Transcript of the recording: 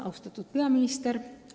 Austatud peaminister!